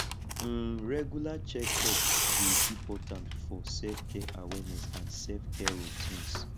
um regular checkups dey important for selfcare awareness and selfcare routines